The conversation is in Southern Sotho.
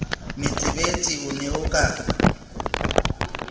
metsebetsi o ne o ka